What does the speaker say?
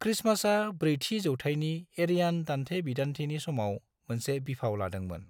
क्रिसमासा ब्रैथि जौथायनि एरियान दान्थे-बिदान्थेनि समाव मोनसे बिफाव लादोंमोन।